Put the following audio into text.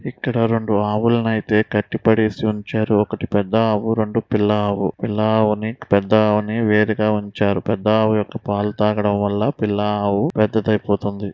ఇక్కడ రెండు ఆవులనైతే కట్టిపడేసి ఉంచారు. ఒకటి పెద్ద ఆవు రెండు పిల్ల ఆవు. పిల్ల ఆవుని పెద్ద ఆవుని వేరుగా ఉంచారు. పెద్ద ఆవు యొక్క పాలు తాగడం వల్ల పిల్లా ఆవు పెద్దదైపోతుంది.